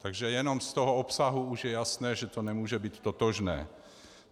Takže jenom z toho obsahu už je jasné, že to nemůže být totožné.